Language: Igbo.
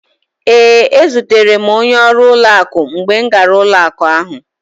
Ee, ezutere m onye ọrụ ụlọakụ mgbe m gara ụlọakụ ahụ.